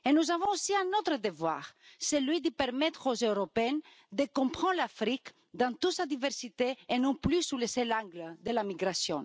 Nous avons aussi un autre devoir, celui de permettre aux Européens de comprendre l'Afrique dans toute sa diversité, et non plus sous le seul angle de la migration.